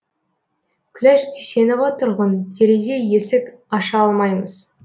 күләш дүйсенова тұрғын терезе есік аша алмаймыз